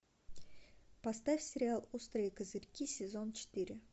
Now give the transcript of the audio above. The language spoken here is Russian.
поставь сериал острые козырьки сезон четыре